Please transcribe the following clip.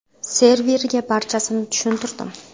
Serverga barchasini tushuntirdim.